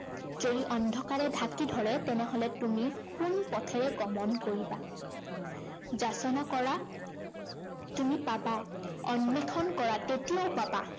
যদি অন্ধকাৰে ঢাকি ধৰে তেনেহলে তুমি কোন পথেৰে গমন কৰিবা? যাচনা কৰা তুমি পাবা। অন্বেষণ কৰা তেতিয়াও পাবা